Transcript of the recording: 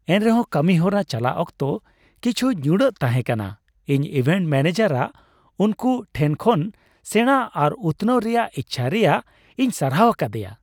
ᱮᱱᱨᱮᱦᱚᱸ ᱠᱟᱹᱢᱤᱦᱚᱨᱟ ᱪᱟᱞᱟᱜ ᱚᱠᱛᱚ ᱠᱤᱪᱷᱩ ᱧᱩᱲᱟᱹᱜ ᱛᱟᱦᱮᱸ ᱠᱟᱱᱟ, ᱤᱧ ᱤᱵᱷᱮᱱᱴ ᱢᱮᱹᱱᱮᱡᱟᱨᱟᱜ ᱩᱱᱠᱩ ᱴᱷᱮᱱ ᱠᱷᱚᱱ ᱥᱮᱲᱟ ᱟᱨ ᱩᱛᱱᱟᱹᱣ ᱨᱮᱭᱟᱜ ᱤᱪᱪᱷᱟᱹ ᱨᱮᱭᱟᱜ ᱤᱧ ᱥᱟᱨᱦᱟᱣ ᱟᱠᱟᱫᱟ ᱾